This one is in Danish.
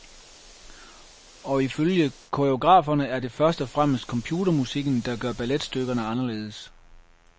Og ifølge koreograferne er det først og fremmest computermusikken, der gør balletstykkerne anderledes.